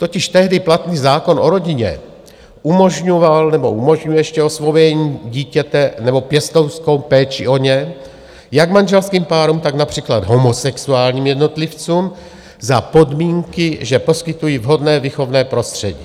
Totiž tehdy platný zákon o rodině umožňoval nebo umožňuje ještě osvojení dítěte nebo pěstounskou péči o ně jak manželským párům, tak například homosexuálním jednotlivcům za podmínky, že poskytují vhodné výchovné prostředí.